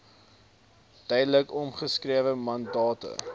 duidelik omskrewe mandate